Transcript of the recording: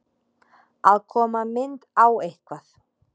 Að koma mynd á eitthvað